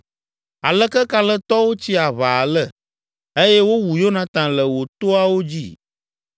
“Aleke kalẽtɔwo tsi aʋa ale! Eye wowu Yonatan le wò toawo dzi.